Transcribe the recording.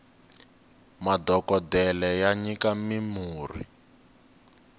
madhokodele ya nyika mi murhi